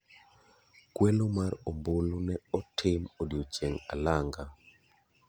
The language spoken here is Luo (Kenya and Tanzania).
Kwelo mar ombulu ne otim odiochieng' alanga.